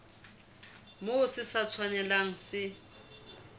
moo se sa tshwanelang se